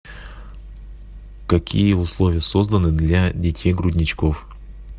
какие условия созданы для детей грудничков